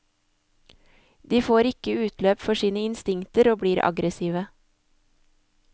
De får ikke utløp for sine instinkter og blir aggressive.